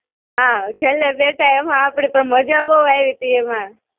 હાં, છેલ્લે બેઠા એમાં આપડી તો માજા બધુ આયવી તી એમાં.